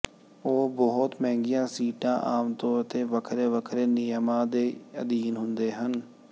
ਉਹ ਬਹੁਤ ਮਹਿੰਗੀਆਂ ਸੀਟਾਂ ਆਮ ਤੌਰ ਤੇ ਵੱਖਰੇ ਵੱਖਰੇ ਨਿਯਮਾਂ ਦੇ ਅਧੀਨ ਆਉਂਦੇ ਹਨ